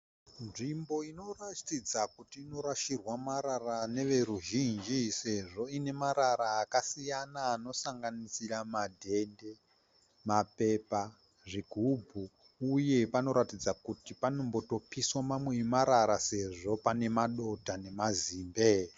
Nzvimbo ino ratidza kuti inorashirwa marara neveruzhinji sezvo iine marara akasiyana anosanganisira madhende, mapepa, zvigubhu uye panoratidza kuti panombotopiswa mamwe emarara sezvo pane madota nemazimbe.